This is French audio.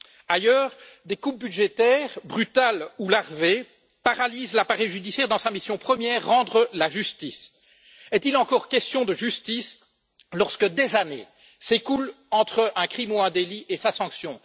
Ailleurs, des coupes budgétaires, brutales ou larvées, paralysent l'appareil judiciaire dans sa mission première, rendre la justice. Est il encore question de justice lorsque des années s'écoulent entre un crime ou un délit et sa sanction?